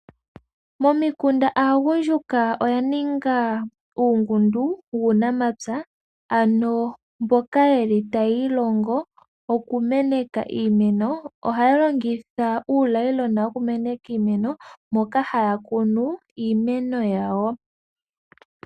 Momikunda aagundjuka oya ninga uungundu wuunamapya ano mboka yeli tayii longo okumeneka iimeno, ohaya longitha uunayiilona wokumeneka iimeno moka haya kunu iimeno yawo.